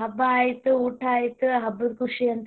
ಹಬ್ಬ ಆಯಿತು ಊಟಾ ಆಯಿತು ಹಬ್ಬದ ಖುಷಿ ಅಂತ.